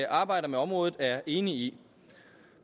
arbejder med området er enige i